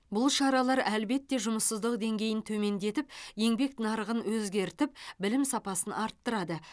бұл шаралар әлбетте жұмыссыздық деңгейін төмендетіп еңбек нарығын өзгертіп білім сапасын арттырады